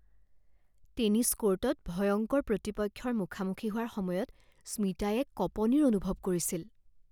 tennis কৰ্টত ভয়ংকৰ প্ৰতিপক্ষৰ মুখামুখি হোৱাৰ সময়ত স্মিতাই এক কঁপনিৰ অনুভৱ কৰিছিল